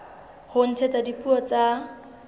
ho ntshetsa pele dipuo tsa